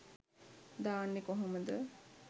දාන්නේ කොහොමද